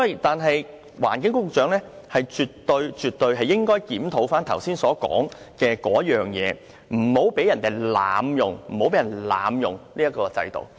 但是，環境局局長絕對應該檢討我剛才所說的事情，不要讓人濫用這個制度。